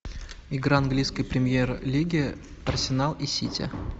игра английской премьер лиги арсенал и сити